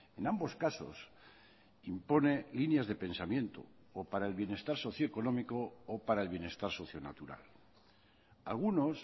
en ambos casos impone líneas de pensamiento o para el bienestar socio económico o para el bienestar socio natural algunos